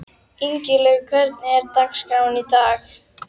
Ingilaug, hvernig er dagskráin í dag?